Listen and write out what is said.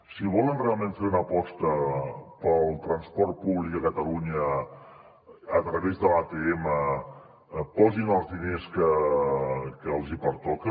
si volen realment fer una aposta pel transport públic a catalunya a través de l’atm posin els diners que els hi pertoca